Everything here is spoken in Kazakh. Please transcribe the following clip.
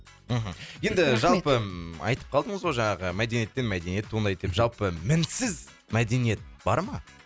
мхм енді жалпы айтып қалдыңыз ғой жаңағы мәдениеттен мәдениет туындайды деп жалпы мінсіз мәдениет бар ма